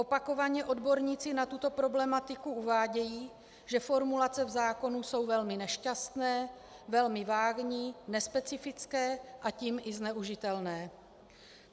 Opakovaně odborníci na tuto problematiku uvádějí, že formulace v zákoně jsou velmi nešťastné, velmi vágní, nespecifické, a tím i zneužitelné.